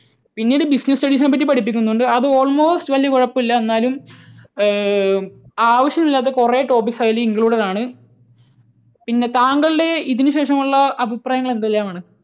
പിന്നീട് business studies നെപ്പറ്റി പഠിപ്പിക്കുന്നുണ്ട് അത് almost വലിയ കുഴപ്പമില്ല എന്നാലും ഏർ ആവശ്യമില്ലാത്ത കുറെ topics അതിൽ included ആണ്. പിന്നെ താങ്കളുടെ ഇതിനു ശേഷം ഉള്ള അഭിപ്രായങ്ങൾ എന്തെല്ലാം ആണ്?